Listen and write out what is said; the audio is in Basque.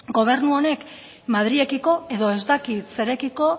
gobernu honek madrilekiko edo ez dakit zerekiko